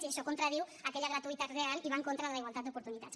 i això contradiu aquella gratuïtat real i va en contra de la igualtat d’oportunitats